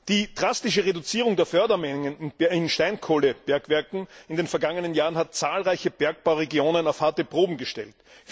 Die drastische Reduzierung der Fördermengen in Steinkohlebergwerken in den vergangenen Jahren hat zahlreiche Bergbauregionen auf eine harte Probe gestellt.